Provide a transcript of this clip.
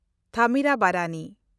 ᱛᱷᱟᱢᱤᱨᱟᱵᱟᱨᱟᱱᱤ